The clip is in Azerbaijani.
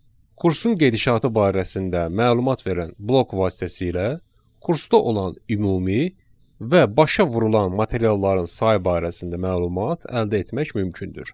Kursun gedişatı barəsində məlumat verən blok vasitəsilə kursda olan ümumi və başa vurulan materialların sayı barəsində məlumat əldə etmək mümkündür.